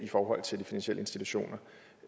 forhold til de finansielle institutioner